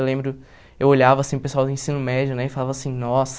Eu lembro, eu olhava assim o pessoal do ensino médio né e falava assim, nossa...